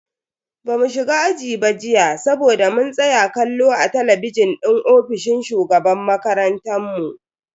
Bamu shiga aji ba jiya saboda mun tsaya kallo a talabijin din ofishin shugaban makarantan mu.